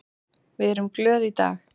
Við erum glöð í dag.